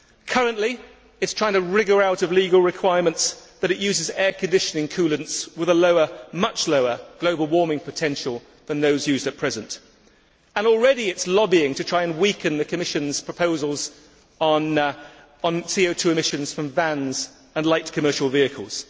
Currently it is trying to wriggle out of legal requirements that it uses air conditioning coolants with a much lower global warming potential than those used at present, and already it is lobbying to try and weaken the Commission's proposals on CO 2 emissions from vans and light commercial vehicles.